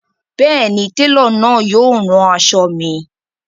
Bẹẹni, telo náà yóò rán aṣọ̣ mi.